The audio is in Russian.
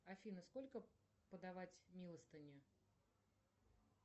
афина сколько подавать милостыни